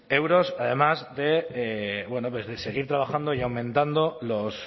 euros además de bueno pues de seguir trabajando y aumentando los